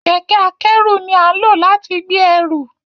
Kẹkẹ-akẹru ni a nlo lati gbe ẹru.